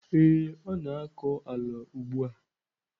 Ee, ọ na-akọ ala ugbu a.